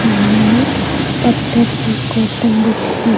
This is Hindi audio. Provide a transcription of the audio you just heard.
सामने में पत्थर की गौतम बुद्ध की --